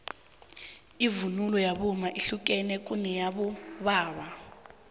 ivunulo yabomma yehlukene kuneyabobaba